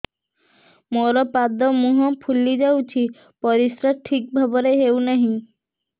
ମୋର ପାଦ ମୁହଁ ଫୁଲି ଯାଉଛି ପରିସ୍ରା ଠିକ୍ ଭାବରେ ହେଉନାହିଁ